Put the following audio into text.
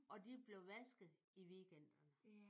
Og de blev vasket i weekenderne